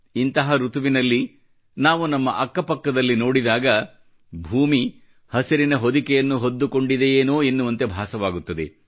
ಇಂತಹ ಋತುವಿನಲ್ಲಿ ನಾವು ನಮ್ಮ ಅಕ್ಕಪಕ್ಕದಲ್ಲಿ ನೋಡಿದಾಗ ಭೂಮಿ ಹಸಿರಿನ ಹೊದಿಕೆಯನ್ನು ಹೊದ್ದುಕೊಂಡಿದೆಯೇನೋ ಎನ್ನುವಂತೆ ಭಾಸವಾಗುತ್ತದೆ